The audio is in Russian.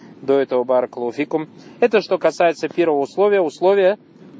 до этого баракаллаху фикум это что касается первого условия условия